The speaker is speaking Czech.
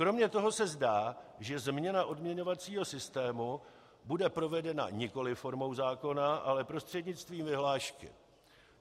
Kromě toho se zdá, že změna odměňovacího systému bude provedena nikoli formou zákona, ale prostřednictvím vyhlášky.